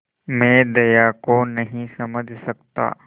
मैं दया को नहीं समझ सकता